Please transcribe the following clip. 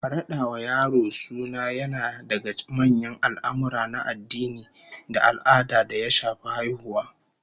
Rada wa yaro suna yana daga manyan al'amurra na addini da al'ada da ya shafi haihuwa